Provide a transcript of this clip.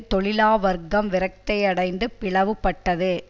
தொழிலா வர்க்கம் விரக்கியடைந்து பிளவு பட்டது